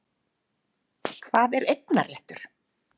Hvað er eignarréttur?